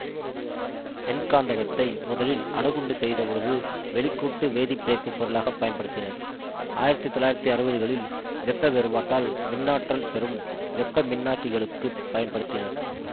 வெண்காந்தகத்தை முதலில் அணுகுண்டு செய்தபொழுது வெளிக்கூட்டு வேதிப்பிணைப்புப் பொருளாக பயன்படுத்தினர் ஆயிரத்தி தொள்ளாயிரத்தி அறுபதுகளில் வெப்ப வேறுபாட்டால் மின்னாற்றல் பெறும் வெப்பமின்னாக்கிகளுக்குப் பயன்படுத்தினர்